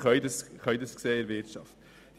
Das können wir in der Wirtschaft sehen.